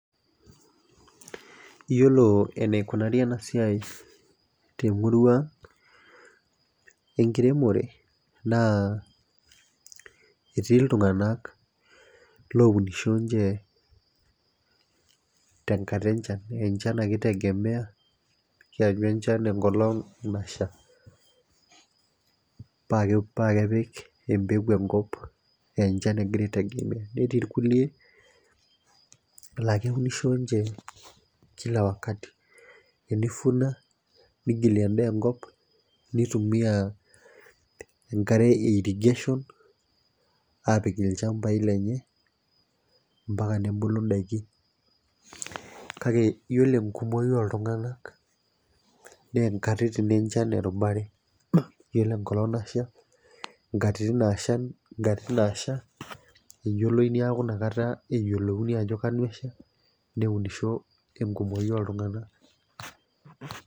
Iyiolo eneikunari ena siai temurua ang' enkiremore naa etii iltunganak loinisho ninche te nkata enchan. enchan ake itegemea, keenyu enchan enkolong' nasha. paa kepik empeku enkop aa encha egira aitegemea. netii irkulie lakeunisho ninche Kila wakati teni vuna nigilie edaa enkop. nitumia enkare e irrigation aapik ilchampai lenye. mpaka nebulu daikin. kake iyiolo enkumoi ooltunganak naa enkata enchan ake ninche erubare. iyiolo enkata Nasha, nkatitin Natasha eyioloi, neeku inakata eyiolouni ajo kesha, neunisho enkumoi ooltunganak.